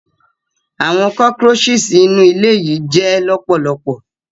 Awọn cockroaches inu ile yii jẹ lọpọlọpọ.